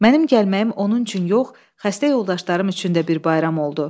Mənim gəlməyim onun üçün yox, xəstə yoldaşlarım üçün də bir bayram oldu.